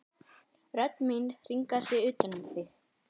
Rödd mín hringar sig utan um þig.